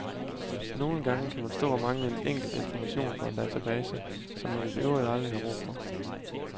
Nogle gange kan man stå og mangle en enkelt information fra en database, som man i øvrigt aldrig har brug for.